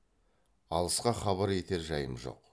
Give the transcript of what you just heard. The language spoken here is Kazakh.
алысқа хабар етер жайым жоқ